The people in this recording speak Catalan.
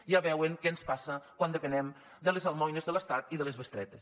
ja veuen què ens passa quan depenem de les almoines de l’estat i de les bestretes